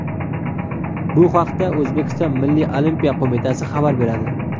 Bu haqda O‘zbekiston Milliy olimpiya qo‘mitasi xabar beradi .